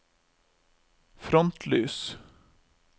frontlys